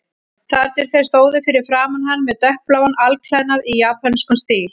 Þar til þeir stóðu fyrir framan hann með dökkbláan alklæðnað í japönskum stíl.